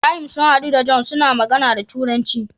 Ibrahim sun hadu da john suna magAna da turanci